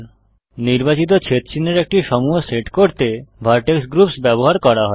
নির্বাচিত ছেদচিহ্নের একটি সমূহ সেট করতে ভারটেক্স গ্রুপস ব্যবহার করা হয়